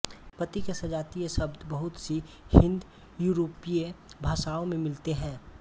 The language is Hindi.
पति के सजातीय शब्द बहुत सी हिन्दयूरोपीय भाषाओँ में मिलते हैं